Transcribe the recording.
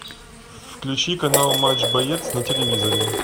включи канал матч боец на телевизоре